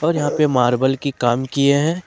और यहां पे मार्बल की काम किए हैं।